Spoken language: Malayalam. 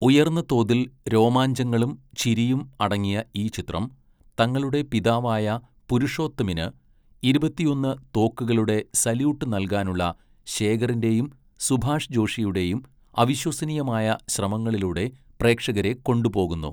ഉയർന്ന തോതിൽ രോമാഞ്ചങ്ങളും ചിരിയും അടങ്ങിയ ഈ ചിത്രം തങ്ങളുടെ പിതാവായ പുരുഷോത്തമിന് ഇരുപത്തിയൊന്ന് തോക്കുകളുടെ സല്യൂട്ട് നൽകാനുള്ള ശേഖറിൻ്റെയും സുഭാഷ് ജോഷിയുടെയും അവിശ്വസനീയമായ ശ്രമങ്ങളിലൂടെ പ്രേക്ഷകരെ കൊണ്ടുപോകുന്നു.